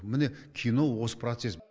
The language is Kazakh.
міне кино осы процесс